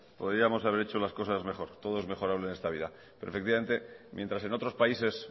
podríamos haber hecho las cosas mejor todo es mejorable en esta vida pero efectivamente mientras en otros países